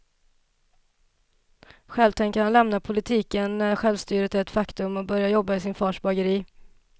Själv tänker han lämna politiken när självstyret är ett faktum och börja jobba i sin fars bageri.